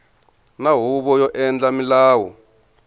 na huvo yo endla milawu